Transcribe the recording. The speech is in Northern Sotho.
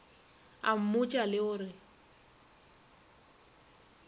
a mmotša le go re